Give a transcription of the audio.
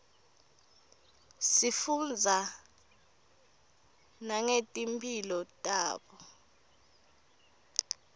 sifundza nangeti mphilo tabo